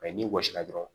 n'i gosira dɔrɔn